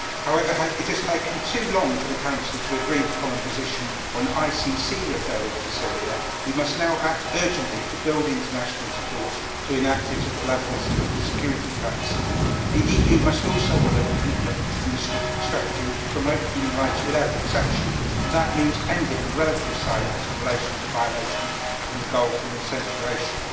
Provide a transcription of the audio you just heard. However, it has taken too long for the Council to agree the common position on ICC referral for Syria. We must now act urgently to build international support in order to enact it at the level of the Security Council. The EU must also honour the commitment and the strategy to promote human rights without exception, and that means ending the relative silence in relation to violations in the Gulf and in Central Asia.